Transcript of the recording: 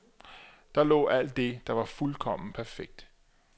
Der lå alt det, der var fuldkommen perfekt.